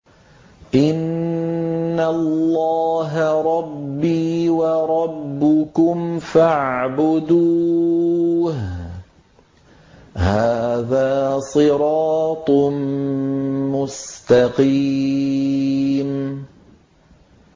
إِنَّ اللَّهَ رَبِّي وَرَبُّكُمْ فَاعْبُدُوهُ ۗ هَٰذَا صِرَاطٌ مُّسْتَقِيمٌ